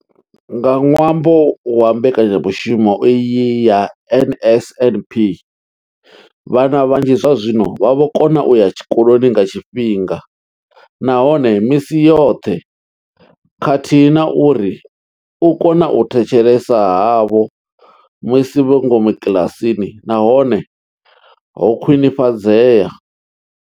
Nga ṅwambo wa mbekanyamushumo iyi ya NSNP, vhana vhanzhi zwazwino vha vho kona u ya tshikoloni nga tshifhinga nahone misi yoṱhe khathihi na uri u kona u thetshelesa havho musi vhe ngomu kiḽasini na hone ho khwinifhadzea.